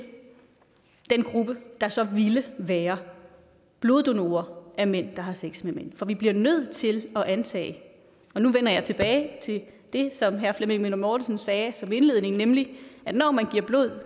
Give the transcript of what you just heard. den gruppe der så ville være bloddonorer fra af mænd der har sex med mænd for vi bliver nødt til at antage nu vender jeg tilbage til det som herre flemming møller mortensen sagde som indledning at når man giver blod